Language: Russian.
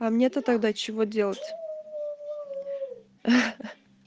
а мне то тогда чего делать хи-хи